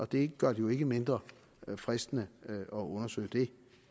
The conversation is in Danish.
det gør det jo ikke mindre fristende at undersøge det